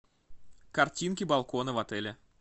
картинки балкона в отеле